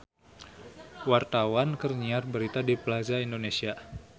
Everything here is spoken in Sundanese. Wartawan keur nyiar berita di Plaza Indonesia